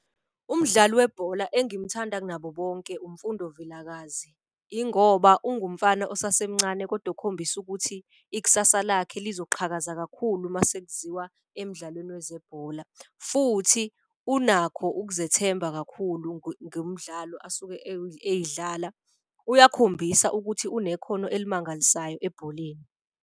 Umdlali webhola engimthanda kunabo bonke uMfundo Vilakazi. Ingoba ungumfana osasemncane kodwa okhombisa ukuthi ikusasa lakhe lizoqhaza kakhulu uma sekuziwa emdlalweni wezebhola. Futhi unakho ukuzethemba kakhulu ngomdlalo asuke eyidlala. Uyakhombisa ukuthi unekhono elimangalisayo ebholeni.